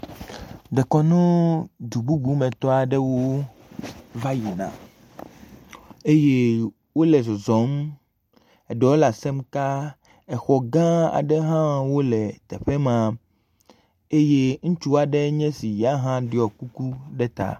Dekɔnu dububumetɔ aɖewo va yin a eye wole zɔzɔm eɖewo le asem kaa, exɔ gã aɖe hã wole teƒe m, eye ŋutsu aɖenye esi ya hã ɖɔ kuku ɖe ta.